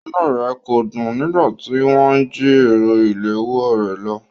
Inúu rẹ̀ kò dùn nígbà tí wọ́n jí ẹ̀rọ ìléwọ́o rè lọ.